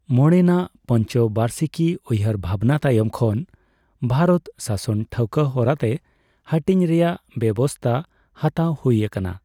ᱢᱚᱬᱮ ᱱᱟᱜ ᱯᱚᱱᱪᱚᱵᱟᱨᱥᱤᱠᱤ ᱩᱭᱦᱟᱹᱨ ᱵᱷᱟᱵᱱᱟ ᱛᱟᱭᱚᱢ ᱠᱷᱚᱱ ᱵᱷᱟᱨᱚᱛ ᱥᱟᱥᱚᱱ ᱴᱷᱟᱣᱠᱚ ᱦᱚᱨᱟᱛᱮ ᱦᱟᱹᱴᱤᱧ ᱨᱮᱭᱟᱜ ᱵᱮᱵᱥᱛᱟ ᱦᱟᱛᱟᱣ ᱦᱩᱭ ᱟᱠᱟᱱᱟ ᱾